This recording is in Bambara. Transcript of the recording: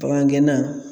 Bagan gɛnna